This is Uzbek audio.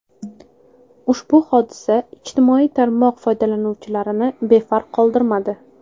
Ushbu hodisa ijtimoiy tarmoq foydalanuvchilarini befarq qoldirmadi.